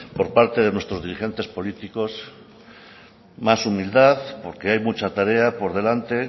por parte de nuestros diligentes políticos más humildad porque hay mucha tarea por delante